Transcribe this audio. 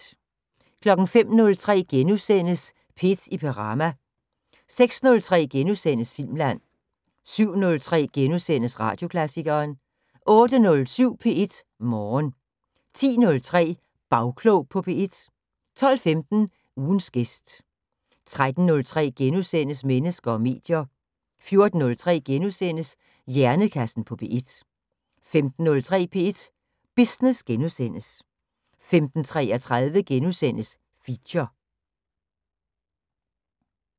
05:03: P1 i Perama * 06:03: Filmland * 07:03: Radioklassikeren * 08:07: P1 Morgen 10:03: Bagklog på P1 12:15: Ugens gæst 13:03: Mennesker og medier * 14:03: Hjernekassen på P1 * 15:03: P1 Business * 15:33: Feature *